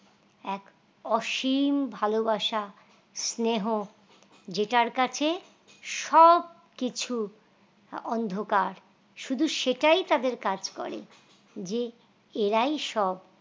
এক অসীম ভালবাসা স্নেহ যেটার কাছে সবকিছু অন্ধকার শুধু সেটাই তাদের কাজ করে যে এরাই সব